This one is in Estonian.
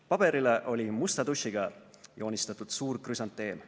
Paberile oli musta tušiga joonistatud suur krüsanteem.